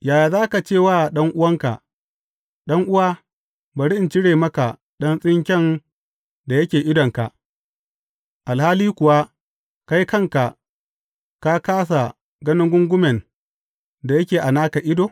Yaya za ka ce wa ɗan’uwanka, Ɗan’uwa, bari in cire maka ɗan tsinke da yake idonka,’ alhali kuwa, kai kanka ka kāsa ganin gungumen da yake a naka ido?